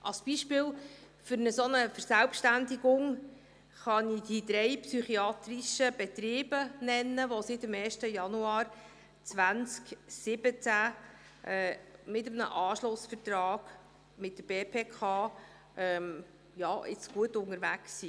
Als Beispiel einer solchen Verselbständigung kann ich die drei psychiatrischen Betriebe nennen, welche seit dem 1. Januar 2017 mit einem Anschlussvertrag mit der BPK jetzt gut unterwegs sind.